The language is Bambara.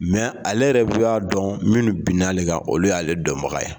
ale yɛrɛ y'a dɔn minnu binna ale kan olu y'ale dɔnbaga ye.